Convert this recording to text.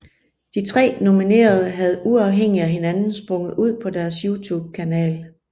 De tre nominerede havde uafhængigt af hinanden sprunget ud på deres YouTube kanal